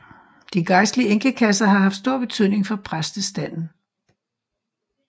De gejstlige enkekasser har haft stor betydning for præstestanden